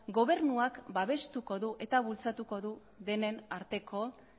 gobernuak babestuko du eta bultzatuko du